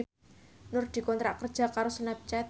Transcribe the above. Nur dikontrak kerja karo Snapchat